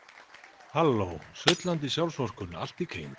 Sullandi sjálfsvorkunnin allt í kring.